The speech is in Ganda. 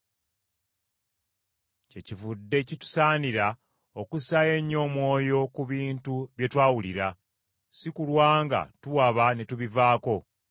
Kyekivudde kitusaanira okussaayo ennyo omwoyo ku bintu bye twawulira, si kulwa nga tuwaba ne tubivaako.